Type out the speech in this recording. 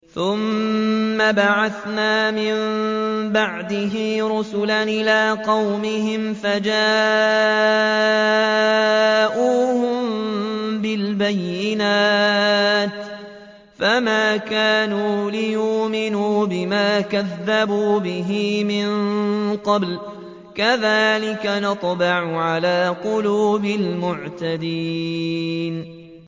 ثُمَّ بَعَثْنَا مِن بَعْدِهِ رُسُلًا إِلَىٰ قَوْمِهِمْ فَجَاءُوهُم بِالْبَيِّنَاتِ فَمَا كَانُوا لِيُؤْمِنُوا بِمَا كَذَّبُوا بِهِ مِن قَبْلُ ۚ كَذَٰلِكَ نَطْبَعُ عَلَىٰ قُلُوبِ الْمُعْتَدِينَ